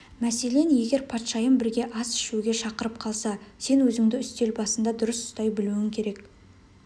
мәселен егер патшайым бірге ас ішуге шақырып қалса сен өзіңді үстел басында дұрыс ұстай білуің керек